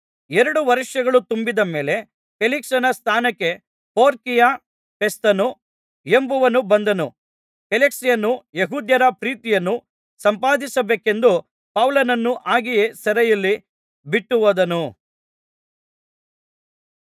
ಎರಡು ವರ್ಷಗಳು ತುಂಬಿದ ಮೇಲೆ ಫೇಲಿಕ್ಸನ ಸ್ಥಾನಕ್ಕೆ ಪೋರ್ಕಿಯ ಫೆಸ್ತನು ಎಂಬವನು ಬಂದನು ಫೇಲಿಕ್ಸನು ಯೆಹೂದ್ಯರ ಪ್ರೀತಿಯನ್ನು ಸಂಪಾದಿಸಬೇಕೆಂದು ಪೌಲನನ್ನು ಹಾಗೆಯೇ ಸೆರೆಯಲ್ಲಿ ಬಿಟ್ಟು ಹೋದನು